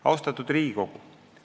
Austatud Riigikogu!